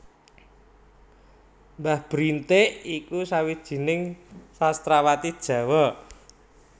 Mbah Brintik iku sawijining sastrawati Jawa